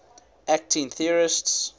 acting theorists